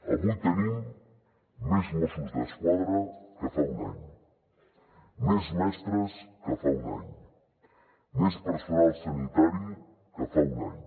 avui tenim més mossos d’esquadra que fa un any més mestres que fa un any més personal sanitari que fa un any